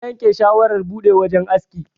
Na yanke shawarar buɗe wajan aski.